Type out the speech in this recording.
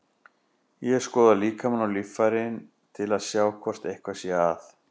Ég skoða líkamann og líffærin til að sjá hvort eitthvað sé að.